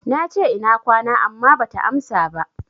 Nace, Ina kwana, amma bata amsa ba.